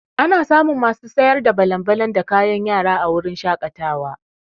Ana samun masu sayar da balan-balan da kayan yara a wurin shaƙatawa.